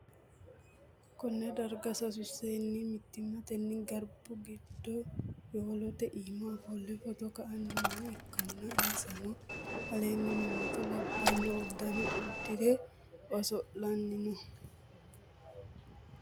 konne darga sasu seenni mittimmatenni garbu giddo yowolote iima ofolle footo ka'anni nooha ikkanna, insano aleenni mimmitto labbanno uddano uddi're oso'lanni no.